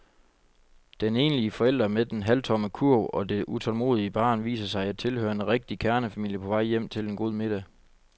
Den enlige forælder med den halvtomme kurv og det utålmodige barn viser sig at tilhøre en rigtig kernefamilie på vej hjem til en god middag.